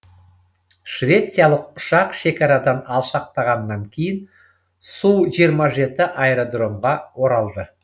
швециялық ұшақ шекарадан алшақтағаннан кейін су жиырма жеті аэродромға оралды